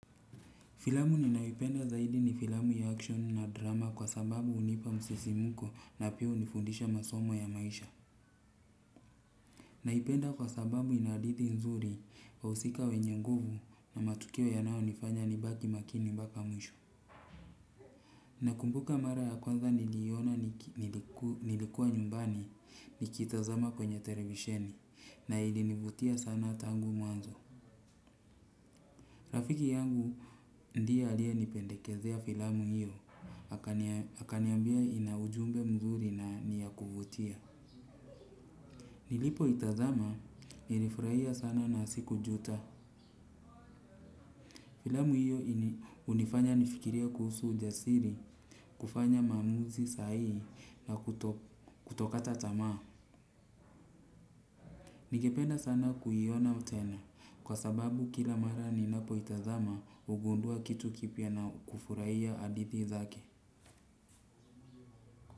Filamu ninayo ipenda zaidi ni filamu ya action na drama kwa sababu unipa msisimko na pia unifundisha masomo ya maisha. Naipenda kwa sababu ina hadithi nzuri wahusika wenye nguvu na matukio yanayo nifanya ni baki makini mpaka mwisho. Nakumbuka mara ya kwanza niliona nilikuwa nyumbani nikitazama kwenye televisheni na ilinivutia sana tangu mwanzo. Rafiki yangu ndiye alia nipendekezea filamu hiyo, hakaniambia ina ujumbe mzuri na niyakuvutia. Nilipo itazama nirifurahia sana na sikujuta. Filamu hiyo unifanya nifikirie kuhusu ujasiri, kufanya mamuzi sahii na kutokata tamaa. Ningependa sana kuyiona tena kwa sababu kila mara ninapo itazama ugundua kitu kipia na kufurahia adithi zake.